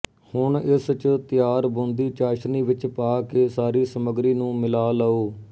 ਹੁਣ ਇਸ ਚ ਤਿਆਰ ਬੂੰਦੀ ਚਾਸ਼ਣੀ ਵਿੱਚ ਪਾ ਕੇ ਸਾਰੀ ਸਮੱਗਰੀ ਨੂੰ ਮਿਲਾ ਲਓ